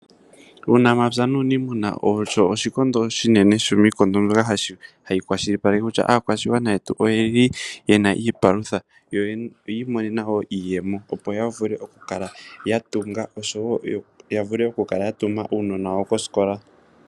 Uunamapya nuuniimuna osho oshikondo oshinene shomiikondo mbyoka hayi kwashilipaleke kutya aakwashigwana yetu oye li ye na iipalutha yo oyi imonena wo iiyemo, opo ya vule okukala ya tunga osho wo ya kale ya tuma uunona wawo kosikola.